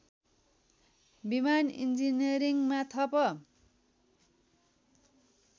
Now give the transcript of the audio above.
विमान इन्जिनियरिङमा थप